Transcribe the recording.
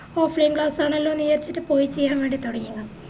offline class ആണല്ലോന്ന് വിചാരിച്ചിറ്റ് പോയി ചെയ്യാൻ വേണ്ടിറ്റ് തൊടങ്ങിയതാ